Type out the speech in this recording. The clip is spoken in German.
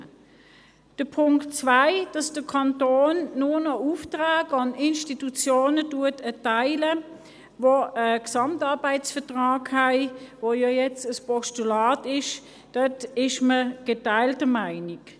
Beim Punkt 2, dass der Kanton nur noch Aufträge an Institutionen erteilt, die einen GAV haben – das ist ja jetzt ein Postulat –, ist man geteilter Meinung.